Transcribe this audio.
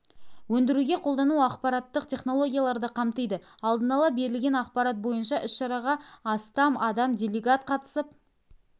өндіруге қолдану ақпараттық технологияларды қамтиды алдын ала берілген ақпарат бойынша іс-шараға астам адам делегат қатысып